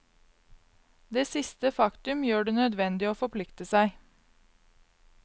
Det siste faktum gjør det nødvendig å forplikte seg.